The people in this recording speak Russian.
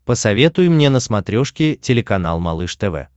посоветуй мне на смотрешке телеканал малыш тв